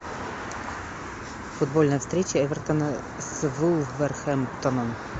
футбольная встреча эвертона с вулверхэмптоном